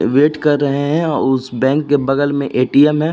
Wait कर रहे हैं और उस बैंक के बगल में ए.टी.एम. है।